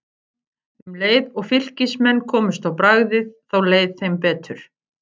Um leið og Fylkismenn komust á bragðið þá leið þeim betur.